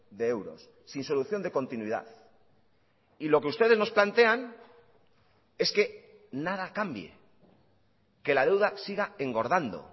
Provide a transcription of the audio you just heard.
de euros sin solución de continuidad y lo que ustedes nos plantean es que nada cambie que la deuda siga engordando